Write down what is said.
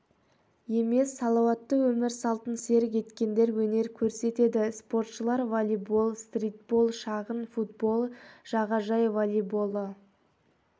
емес салауатты өмір салтын серік еткендер өнер көрсетеді спортшылар волейбол стритбол шағын футбол жағажай волейболы